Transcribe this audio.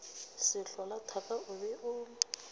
sehlola thaka o be o